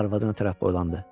Arvadına tərəf boylandı.